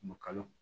kalo